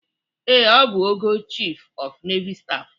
Ee, ọ bụ ogo Chịf ọf Neival Staf.